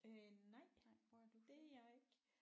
Øh nej det er jeg ikke